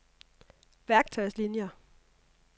værktøjslinier